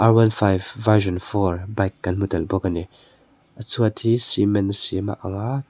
ar one five version four bike kan hmu tel bawk ani a chhuat hi cement siam a anga.